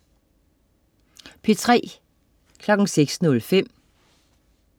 P3: